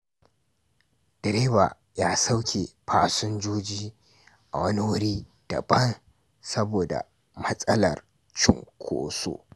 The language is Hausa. Direba ya sauke fasinjoji a wani wuri daban saboda matsalar cunkoso.